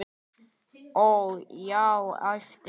Ó, já, æpti hún.